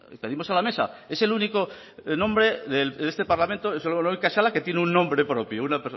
cedimos a la mesa es el único nombre de este parlamento es la única sala que tiene un nombre propio